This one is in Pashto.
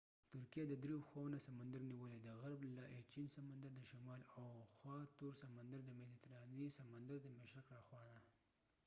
ترکېه د درې خواوو نه سمندر نیولی : د ایچېن سمندر aegean sea د غرب له خوا تور سمندر black sea دشمال او د مديترانی سمندرmediterranean sea د مشرق د خوانه